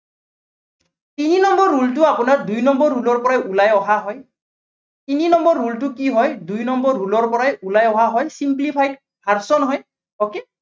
তিনি number rule টো আপোনাৰ দুই number rule ৰ পৰাই ওলাই অহা হয়। তিনি number rule টো কি হয় দুই number rule ৰ পৰাই ওলাই অহা simplify hards ৰ হয়। okay